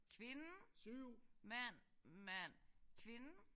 Kvinde mand mand kvinde